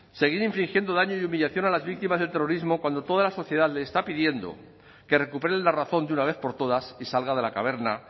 seguir infringiendo daño y humillación a las víctimas del terrorismo cuando toda la sociedad les está pidiendo que recuperen la razón de una vez por todas y salga de la caverna